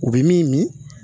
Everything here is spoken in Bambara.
U bɛ min min